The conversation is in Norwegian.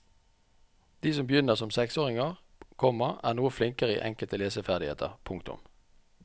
De som begynner som seksåringer, komma er noe flinkere i enkelte leseferdigheter. punktum